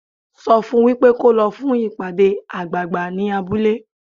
Sọ fun wípé kó lọ fún ìpàdé àgbààgbà ní abúlé.